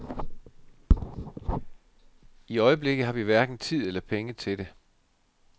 I øjeblikket har vi hverken tid eller penge til det.